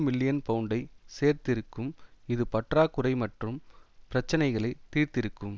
million பவுண்டை சேர்த்திருக்கும் இது பற்றாக்குறை மற்றும் பிரச்சினைகளை தீர்த்திருக்கும்